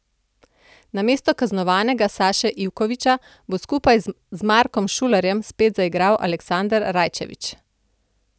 Namesto kaznovanega Saše Ivkovića bo skupaj z Markom Šulerjem spet zaigral Aleksander Rajčević.